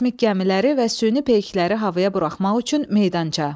Kosmik gəmiləri və süni peykləri havaya buraxmaq üçün meydança.